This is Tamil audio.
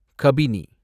கபினி